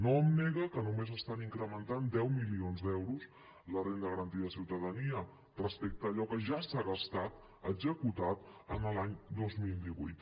no em nega que només estan incrementant deu milions d’euros a la renda garantida de ciutadania respecte a allò que ja s’ha gastat executat en l’any dos mil divuit